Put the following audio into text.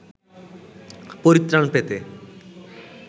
পরিত্রাণ পেতে